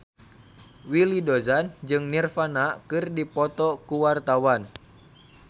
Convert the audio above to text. Willy Dozan jeung Nirvana keur dipoto ku wartawan